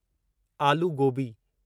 आलू गोबी